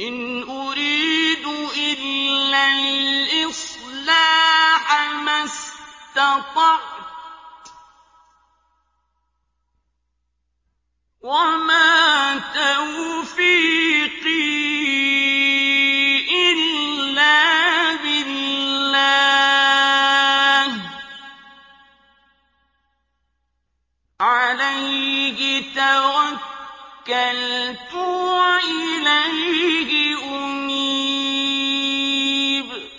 إِنْ أُرِيدُ إِلَّا الْإِصْلَاحَ مَا اسْتَطَعْتُ ۚ وَمَا تَوْفِيقِي إِلَّا بِاللَّهِ ۚ عَلَيْهِ تَوَكَّلْتُ وَإِلَيْهِ أُنِيبُ